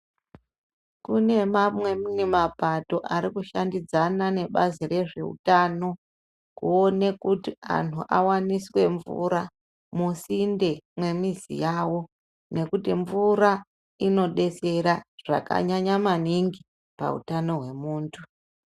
Kune mamwe mi mapato ari kushandidzana nebazi rezveutano, kuone kuti anhu awaniswe mvura, musinde mwemizi yavo ,nekuti mvura inodetsera zvakanyanya maningi ,pautano hwemuntu.